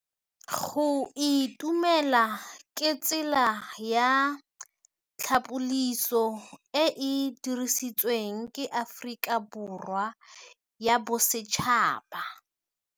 Go itumela ke tsela ya tlhapolisô e e dirisitsweng ke Aforika Borwa ya Bosetšhaba.